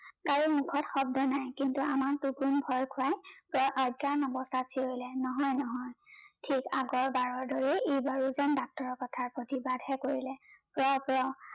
কাৰো মোখত শব্দ নাই কিন্তু আমাৰ টুপনিত ভয় খোৱাই প্ৰায় অজ্ঞান অৱস্থাত চিঞৰিলে নহয় নহয় ঠিক আগৰ বাৰৰ দৰে এইবাৰো জেন ডক্তৰৰ ক্থা প্ৰতিবাদহে কৰিলে প্ৰ প্ৰ